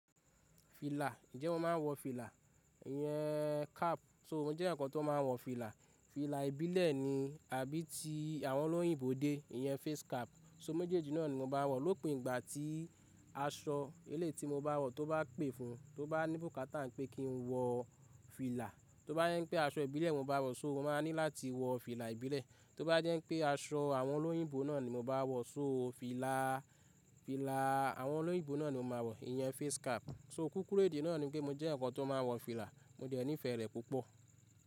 Fìlà, ǹjẹ́ mo máa ń wọ fìlà? Iyẹn cap, so mo jẹ́ eeyan kan tó máa ń wọ fìlà. Fìlà ìbílẹ̀ ni àbí ti àwọn olóyìnbo dé, iyen face cap. So méjèèjì náà ni mo máa n wọ̀ lópin ìgbà tí aṣọ eléyi tí mo bá wọ̀ tó bá pè fún, tó bá ní bukata pé kí n wọ fìlà. Tó bá jẹ́ pé aṣọ ìbílẹ̀ mo bá wọ̀, so mo máa ní láti wọ fìlà ìbílẹ̀. Tó bá jẹ́ pé aṣọ àwọn olóyìnbó náà ni mo bá wọ̀, so fìlà, fìlà àwọn olóyìnbó náà ni mo máa wọ̀, iyẹn face cap. So kúkúrú èdè náà ni pé mo jẹ́ ǹkan tó máa ń wọ fìlà, mo dẹ̀ nífẹ̀ẹ́ rẹ̀ púpọ̀.